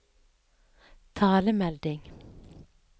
talemelding